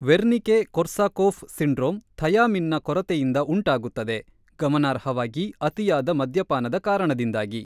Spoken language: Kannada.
ವೆರ್ನಿಕೆ-ಕೊರ್ಸಾಕೋಫ್ ಸಿಂಡ್ರೋಮ್ ಥಯಾಮಿನ್‌ನ ಕೊರತೆಯಿಂದ ಉಂಟಾಗುತ್ತದೆ, ಗಮನಾರ್ಹವಾಗಿ ಅತಿಯಾದ ಮದ್ಯಪಾನದ ಕಾರಣದಿಂದಾಗಿ.